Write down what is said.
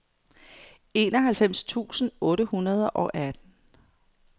enoghalvfems tusind otte hundrede og atten